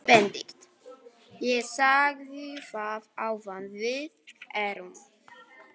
BENEDIKT: Ég sagði það áðan: Við erum.